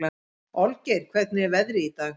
Olgeir, hvernig er veðrið í dag?